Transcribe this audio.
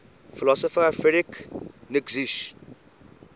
philosopher friedrich nietzsche